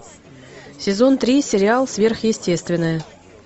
сезон три сериал сверхъестественное